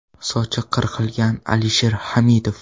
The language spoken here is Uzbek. Sochi qirqilgan Alisher Hamidov.